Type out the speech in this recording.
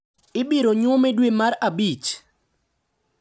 Ibiro nywome dwe mar abich.